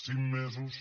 cinc mesos